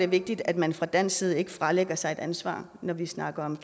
vigtigt at man fra dansk side ikke fralægger sig et ansvar når vi snakker om